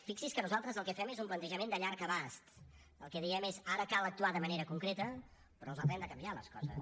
fixi’s que nosaltres el que fem és un plantejament de llarg abast el que diem és ara cal actuar de manera concreta però les haurem de canviar les coses